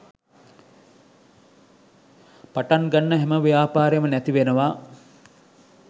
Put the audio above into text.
පටන් ගන්න හැම ව්‍යාපාරේම නැති වෙනවා.